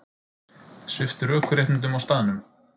Sviptur ökuréttindum á staðnum